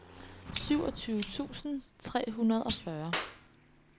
syvogtyve tusind tre hundrede og fyrre